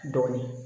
Dɔɔnin